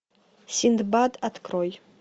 синдбад открой